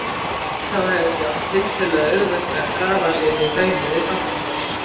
Hvítá hefur því átt tiltölulega auðvelt með að grafa sig inn í hraunið við Barnafoss.